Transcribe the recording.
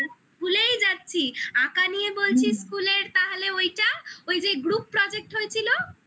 ভুলেই যাচ্ছি আঁকা নিয়ে বলছি school এর তাহলে ওইটা ওই যে group project হয়েছিল